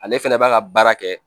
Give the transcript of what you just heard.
Ale fɛnɛ b'a ka baara kɛ